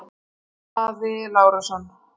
Daði Lárusson